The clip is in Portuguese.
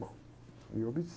Bom, eu obedeci.